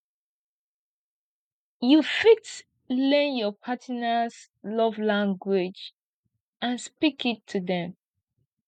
you fit learn your partners love language and speak it to dem